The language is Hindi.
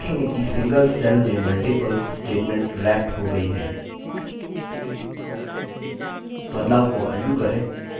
आप देखेंगे कि सिंगल सेल में मल्टिपल स्टेटमेंट रैप्ट हो गई हैं बदलाव को अंडू करें